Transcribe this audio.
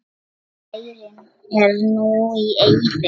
Bærinn er núna í eyði.